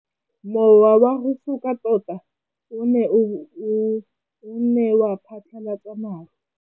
Mowa o wa go foka tota o ne wa phatlalatsa maru.